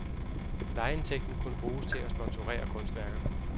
Lejeindtægten kunne bruges til at sponsorere kunstværker.